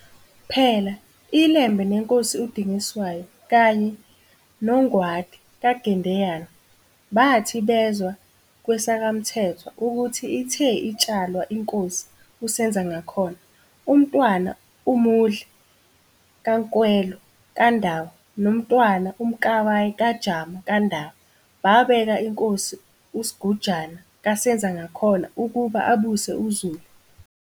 Phela, iLembe neNkosi uDingiswayo kanye noNgwadi kaGendeyana, bathi bezwa kwesakwaMthethwa ukuthi ithe itshalwa iNkosi uSenzangakhona, uMntwana uMudli kaNkwelo kaNdaba noMntwana uMkabayi kaJama kaNdaba, babeka iNkosi uSigujana kaSenzangakhona ukuba abuse uZulu.